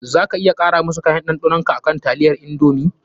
Za ka iya kara wasu kayan ɗanɗanon ka a taliyan indomie.